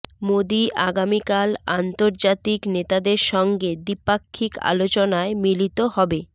মোদি আগামিকাল আন্তর্জাতিক নেতাদের সঙ্গে দ্বিপাক্ষিক আলোচনায় মিলিত হবে